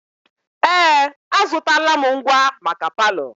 Ee! Azụtala m ngwa maka palọ.